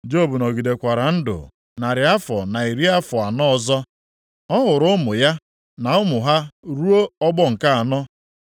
Job nọgidekwara ndụ narị afọ na iri afọ anọ ọzọ. Ọ hụrụ ụmụ ya, na ụmụ ha ruo ọgbọ nke anọ.